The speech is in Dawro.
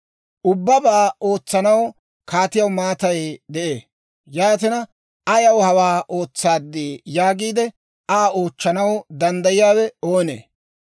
Ubbabaa ootsanaw kaatiyaw maatay de'ee; yaatina, «Ayaw hawaa ootsaaddii?» yaagiide Aa oochchanaw danddayiyaawe oonee?